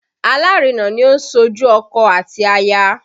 Alárinà ni ó ń ṣojú ọkọ àti aya